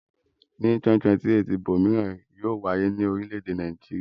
Ní 2028 ìbò mìíràn yóò wáyé ní orílẹ̀-èdè Nàìjíríà.